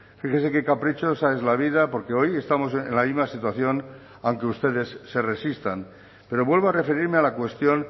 fíjese que caprichosa es la vida porque hoy estamos en la misma situación aunque ustedes se resistan pero vuelvo a referirme a la cuestión